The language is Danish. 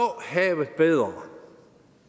havet bedre